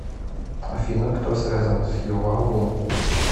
афина кто связан с ювавум